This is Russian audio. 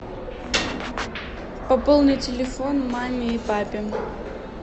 пополни телефон маме и папе